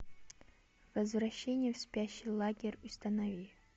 возвращение в спящий лагерь установи